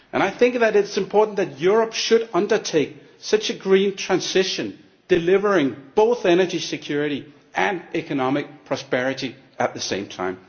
I think that it is important that Europe should undertake such a green transition, delivering both energy security and economic prosperity at the same time.